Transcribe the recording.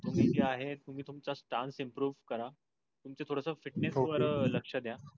तुम्ही ते आहे तुम्ही तुमच stands improve करा. तुमच थोडंस fitness वर लक्ष द्या.